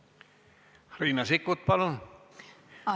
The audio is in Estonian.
Riina Sikkut, palun!